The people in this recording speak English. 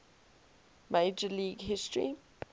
major league history